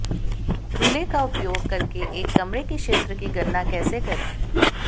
रूले का उपयोग करके एक कमरे के क्षेत्र की गणना कैसे करें